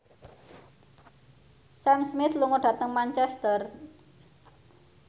Sam Smith lunga dhateng Manchester